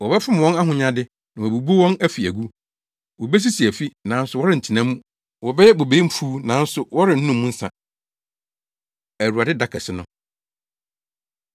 Wɔbɛfom wɔn ahonyade, na wɔabubu wɔn afi agu. Wobesisi afi, nanso wɔrentena mu wɔbɛyɛ bobe mfuw nanso wɔrennom mu nsa.” Awurade Da Kɛse No